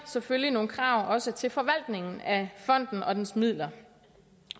selvfølgelig nogle krav også til forvaltningen af fonden og dens midler